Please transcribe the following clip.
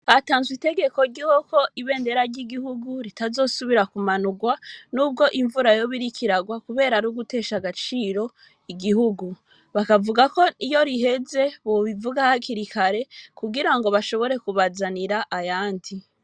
Hatanzwe itegeko ryuko ibendera ry'igihugu ritazosubira ku manurwa nubwo imvura yoba iriko irarwa kubera arugutesha agaciro igihugu, bakavuga ko iyo riheze bobivuga hakiri kare kugirango bashobore kubazanira ayandi.